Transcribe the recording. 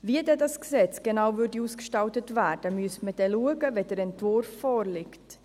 Wie das Gesetz genau ausgestaltet würde, müsste man schauen, wenn der Entwurf vorliegt.